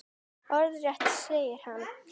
Orðrétt segir hann